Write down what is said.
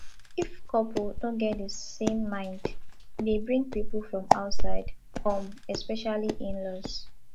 if couple no get di same mind e dey bring pipo from outside come especially inlaws